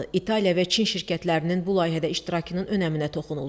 İtaliya və Çin şirkətlərinin bu layihədə iştirakının önəminə toxunuldu.